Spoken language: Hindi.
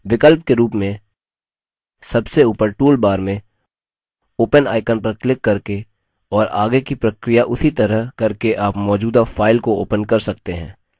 विकल्प के रूप में सबसे ऊपर toolbar में open icon पर क्लिक करके और आगे की प्रक्रिया उसी तरह करके आप मौजूदा file को open कर सकते हैं